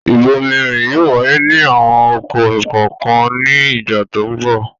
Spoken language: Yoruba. Ìbomirin yóò wáyé ní àwọn oko kọ̀ọ̀kan ní ìgbà tó ń bọ̀.